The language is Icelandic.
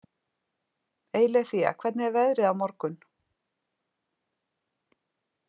Eileiþía, hvernig er veðrið á morgun?